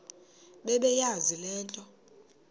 bebeyazi le nto